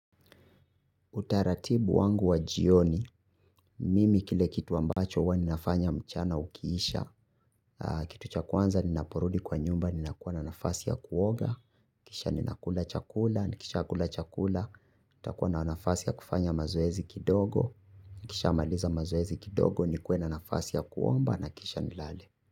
Utaratibu wangu wa jioni, mimi kile kitu ambacho huwa ni nafanya mchana ukiisha. Kitu cha kuanza ninaporudi kwa nyumba ninakuwa na nafasi ya kuoga. Kisha ninakula chakula, nikisha kula chakula itakuwa na nafasi ya kufanya mazoezi kidogo. Nikisha amaliza mazoezi kidogo nikwe na nafasi ya kuomba na kisha nilale.